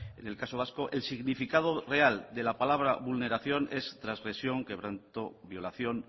en el caso vasco el significado real de la palabra vulneración es transgresión quebranto violación